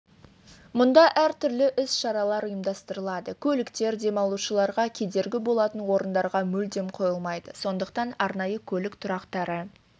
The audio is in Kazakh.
мұнда әртүрлі іс-шаралар ұйымдастырылады көліктер демалушыларға кедергі болатын орындарға мүлдем қойылмайды сондықтан арнайы көлік тұрақтары